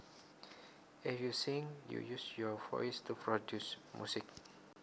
If you sing you use your voice to produce music